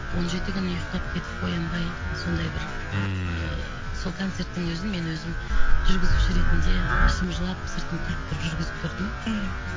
он жеті күн ұйықтап кетіп оянбай сондай бір ммм сол концерттің өзін мен өзім жүргізуші ретінде ішім жылап сыртым күліп тұрып жүргізіп тұрдым